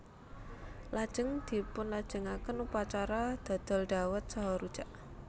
Lajeng dipunlajengaken upacara dodol dhawet saha rujak